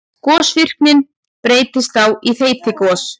Gosvirknin breytist þá í þeytigos.